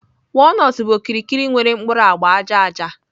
Walnuts bụ okirikiri nwere mkpuru agba aja aja